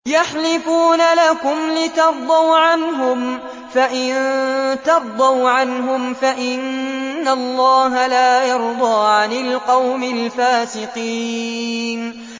يَحْلِفُونَ لَكُمْ لِتَرْضَوْا عَنْهُمْ ۖ فَإِن تَرْضَوْا عَنْهُمْ فَإِنَّ اللَّهَ لَا يَرْضَىٰ عَنِ الْقَوْمِ الْفَاسِقِينَ